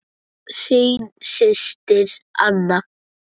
Þín systir, Anna.